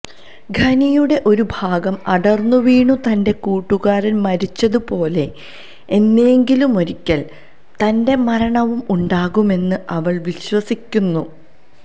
ഖനിയുടെ ഒരു ഭാഗം അടർന്നുവീണു തൻ്റെ കൂട്ടുകാരൻ മരിച്ചതുപോലെ എന്നെങ്കിലുമൊരിക്കൽ തൻ്റെ മരണവും ഉണ്ടാകുമെന്ന് അവൾ വിശ്വസിക്കുന്നു